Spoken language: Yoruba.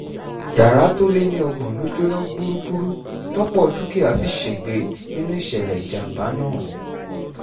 yàrá tó lé ní ọgbọ̀n ló jóná gbúgbúrú tọ́pọ̀ dúkìá sì ṣègbè sínú ìṣẹ̀lẹ̀ ìjàm̀bá náà